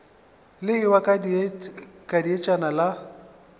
le ewa ka dietšana la